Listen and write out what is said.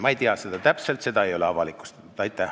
Ma ei tea seda täpselt, seda ei ole avalikustatud.